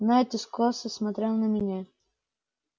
найд искоса смотрел на меня